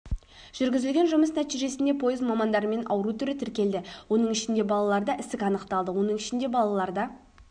жүргізілген жұмыс нәтижесінде пойыз мамандарымен ауру түрі тіркелді оның ішінде балаларда ісік анықталды оның ішінде балаларда